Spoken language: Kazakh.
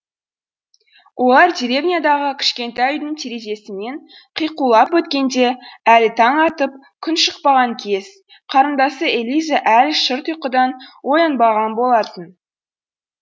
олар деревнядағы кішкентай үйдің терезесінен қиқулап өткенде әлі таң атып күн шықпаған кез қарындасы элиза әлі шырт ұйқыдан оянбаған болатын